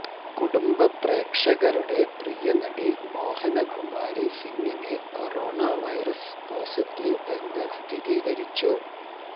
കുടുംബ പ്രേക്ഷകരുടെ പ്രിയ നടി മോഹന കുമാരി സിംഗിന് കൊറോണ വൈറസിന് പോസിറ്റീവ് എന്ന് സ്ഥിരീകരിച്ചു